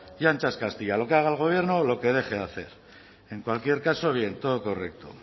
y ancha es castilla lo que haga el gobierno o lo que deje de hacer en cualquier caso bien todo correcto